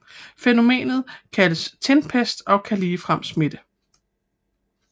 Fænomenet kaldes tinpest og kan ligefrem smitte